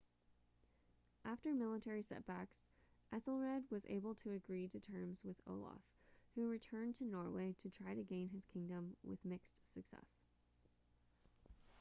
after initial military setbacks ethelred was able to agree to terms with olaf who returned to norway to try to gain his kingdom with mixed success